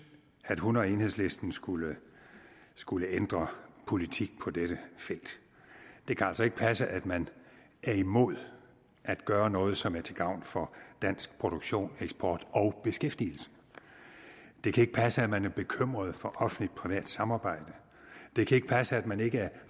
at hun og enhedslisten skulle skulle ændre politik på dette felt det kan altså ikke passe at man er imod at gøre noget som er til gavn for dansk produktion eksport og beskæftigelse det kan ikke passe at man er bekymret for offentligt privat samarbejde det kan ikke passe at man ikke er